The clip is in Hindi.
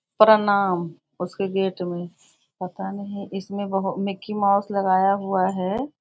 प्रणाम उसके के गेट में पता नहीं इसमें वह मिक्की माउस लगाया हुआ है।